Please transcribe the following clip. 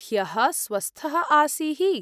ह्यः स्वस्थः आसीः।